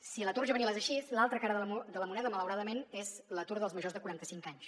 si l’atur juvenil és així l’altra cara de la moneda malauradament és l’atur dels majors de quaranta cinc anys